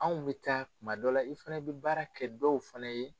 Anw bɛ taa tuma dɔ la i fɛnɛ bɛ baara kɛ dɔw fɛnɛ ye.